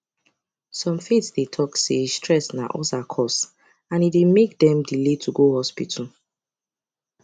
some faith dey talk say stress na ulcer cause and e dey make dem delay to go hospital